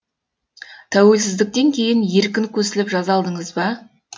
тәуелсіздіктен кейін еркін көсіліп жаза алдыңыз ба